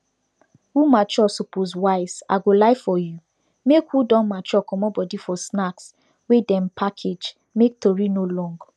who mature suppose wise i go lie for you make who don mature comot body for snacks wey dem package make tori no long